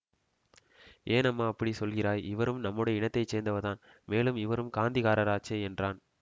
ஏன் அம்மா அப்படி சொல்லுகிறாய் இவரும் நம்முடைய இனத்தை சேர்ந்தவர்தான் மேலும் இவரும் காந்திக்காரராச்சே என்றான்